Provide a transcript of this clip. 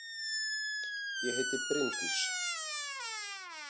Ég heiti Bryndís!